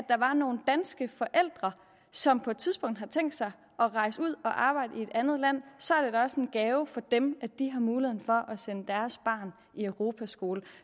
er nogle danske forældre som på et tidspunkt har tænkt sig at rejse ud og arbejde i et andet land så er det da også en gave for dem at de har muligheden for at sende deres barn i europaskole